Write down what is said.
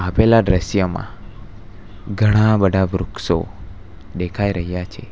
પેલા દ્રશ્યમાં ઘણા બધા વૃક્ષો દેખાય રહ્યા છે.